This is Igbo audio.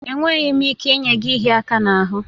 Enweghị m ike inye gị ịhịa aka n'ahụ